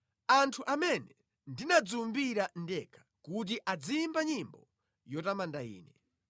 Anthu amene ndinadziwumbira ndekha kuti aziyimba nyimbo yotamanda Ine.